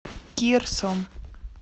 кирсом